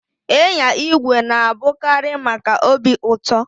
Ịnya igwe na-abụkarị maka obi ụtọ